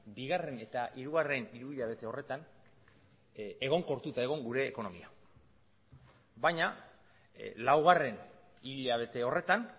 bigarren eta hirugarren hiruhilabete horretan egonkortuta egon gure ekonomia baina laugarren hilabete horretan